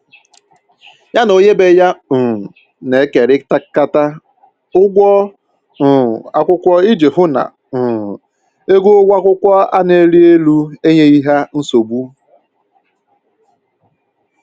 Ya na onye ebe ya um na-ekerikata ụgwọ um akwụkwọ iji hụ na um ego ụgwọ akwụkwọ a na-erị elu enyeghị ha nsogbu